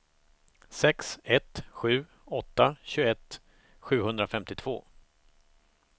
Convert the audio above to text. sex ett sju åtta tjugoett sjuhundrafemtiotvå